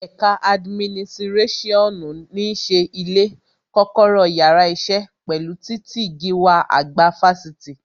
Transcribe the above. Ẹ̀ka adiminisirasionu ní ṣe ilé, kọ́kọ́rọ́ yàrá isẹ, pẹ̀lú titi gíwá àgbà Fáṣítì